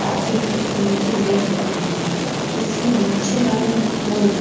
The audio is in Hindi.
पाजी पैथोलॉजी लैब लिखा हुआ है उसे नीचे वाले बोर्ड --